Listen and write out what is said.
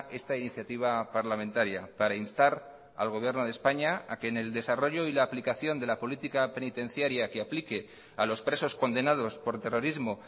esta iniciativa parlamentaria para instar al gobierno de españa a que en el desarrollo y la aplicación de la política penitenciaria que aplique a los presos condenados por terrorismo